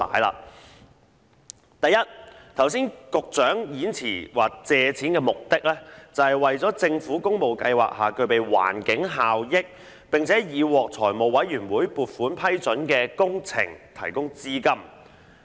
首先，剛才局長的演辭說借款的目的是"為政府工務計劃下具備環境效益、並已獲財務委員會撥款批准的工程提供資金"。